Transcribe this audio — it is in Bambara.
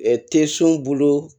Te so bolo